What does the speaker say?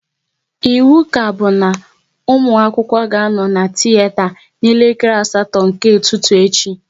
Ịwu kaobu na ụmụ akwụkwọ ga anọ na tiyeta na elekere asatọ nke ụtụtụ echi!